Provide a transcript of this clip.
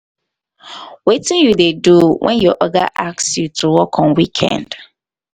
um wetin you um dey do when your oga ask you to work on weekend?